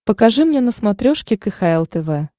покажи мне на смотрешке кхл тв